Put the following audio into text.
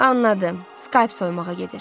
Anladım, scalp soymağa gedir.